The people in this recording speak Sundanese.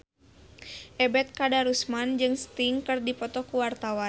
Ebet Kadarusman jeung Sting keur dipoto ku wartawan